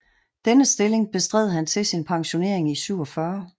Denne stilling bestred han til sin pensionering i 1947